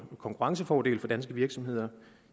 konkurrencefordele for danske virksomheder